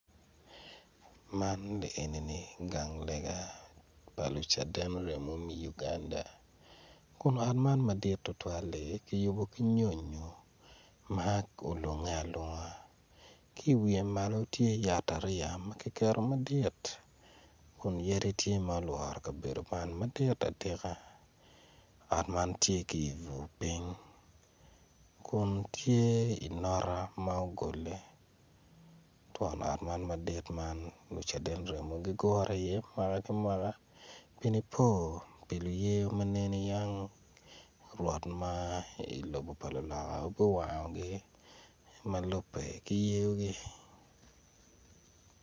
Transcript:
Man ni enini gang lega pa lucaden remo me Uganda kun ot man madit tutwal-li kiyubo ki nyonyo ma olunge alunga ki iwiye malo tye yat ariya ma kiketo madit kun yadi tye ma olworo kabedo man madit atika ot man tye ki ibur piny kun tye inota ma ogole twon ot man madit man lucaden remo gigure iye mwaka ki mwaka pi nipo pa luye ma nene yang rwot ma ilobo pa luloka obin owangogi ma lubbe ki yeogi.